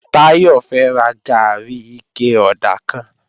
Táyọ̀ fẹ́ ra gàárì ike ọ̀dà kan